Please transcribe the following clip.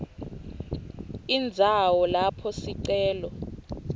indzawo lapho sicelo